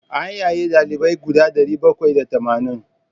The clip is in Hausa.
An yaye ɗalibai guda ɗari bakwai da tamanin.